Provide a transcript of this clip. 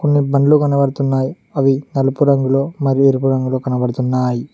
కొన్ని బండ్లు కనబడుతున్నాయి అవి నలుపు రంగులో మరియు ఎరుపు రంగులో కనబడుతున్నాయి.